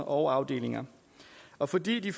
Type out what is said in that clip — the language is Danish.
og afdelinger og fordi de